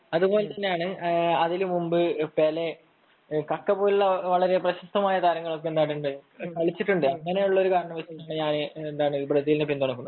അതിനുമുൻപ്‌ പെലെ . പിന്നെ പ്രശസ്ത താരങ്ങൾ കളിച്ചുട്ടുണ്ട് അങ്ങനെയുള്ള കാരണങ്ങൾ കൊണ്ടാണ് ഞാൻ ബ്രസീലിനെ പിന്തുണക്കുന്നത്